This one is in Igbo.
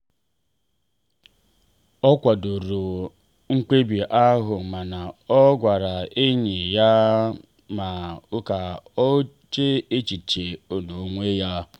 ọ kwadoro mkpebi ahụ mana ọ gbara enyi ya ume ka o chee echiche n'onwe ya.